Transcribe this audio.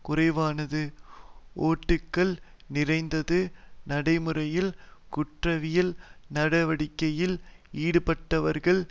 குறைவானது ஓட்டைகள் நிறைந்தது நடைமுறையில் குற்றவியல் நடவடிக்கையில் ஈடுபட்டார்கள்